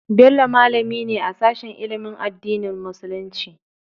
Bello malami ne a sashen ilimin addinin musulunci.